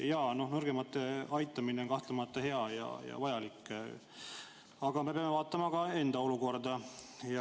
Jaa, nõrgemate aitamine on kahtlemata hea ja vajalik, aga me peame vaatama ka enda olukorda.